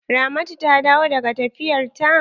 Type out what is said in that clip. Ramatu ta dawo daga tafiyar ta?